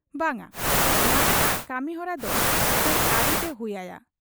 ᱵᱟᱝ ᱟ, ᱢᱟᱬᱟᱝᱟᱜ ᱠᱟᱹᱢᱤᱦᱚᱨᱟᱫᱚ ᱠᱟᱹᱡ ᱟᱹᱨᱩᱛᱮ ᱦᱩᱭ ᱟᱭᱟ ᱾